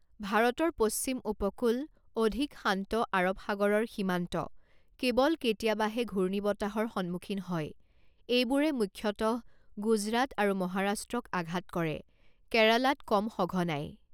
ভাৰতৰ পশ্চিম উপকূল, অধিক শান্ত আৰৱ সাগৰৰ সীমান্ত, কেৱল কেতিয়াবাহে ঘূৰ্ণিবতাহৰ সন্মুখীন হয়; এইবোৰে মুখ্যতঃ গুজৰাট আৰু মহাৰাষ্ট্ৰক আঘাত কৰে, কেৰালাত কম সঘনাই।